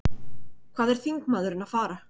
Hvað er þingmaðurinn að fara?